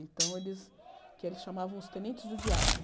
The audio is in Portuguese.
Então, eles eles chamavam os tenentes do diabo.